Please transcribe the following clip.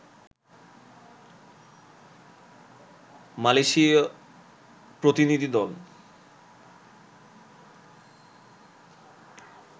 মালয়েশীয় প্রতিনিধি দল